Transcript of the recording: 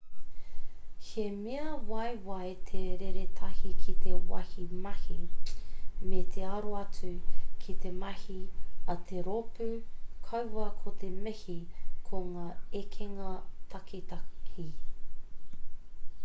he mea waiwai te reretahi ki te wāhi mahi me te aro atu ki te mahi a te rōpū kaua ko te mihi ki ngā ekenga takitahi